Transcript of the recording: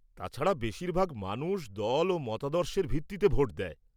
তাছাড়া বেশিরভাগ মানুষ দল ও মতাদর্শের ভিত্তিতে ভোট দেয়।